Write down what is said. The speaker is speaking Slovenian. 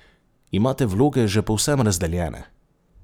Imate vloge že povsem razdeljene?